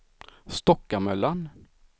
Stockamöllan